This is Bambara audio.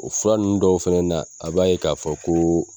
O furan ninnu dɔw fɛnɛ na, a b'a ye k'a fɔ ko